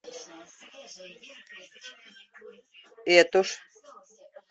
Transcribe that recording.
этуш